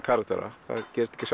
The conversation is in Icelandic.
karaktera það gerist ekki